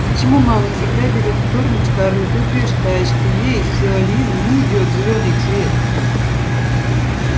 и почему мама всегда берет сторону скарлетт и утверждает что ей сыолин не идёт зелёный цвет